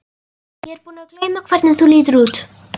Ég er búin að gleyma hvernig þú lítur út.